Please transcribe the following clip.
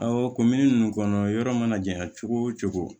o ninnu kɔnɔ yɔrɔ mana jɛyan cogo o cogo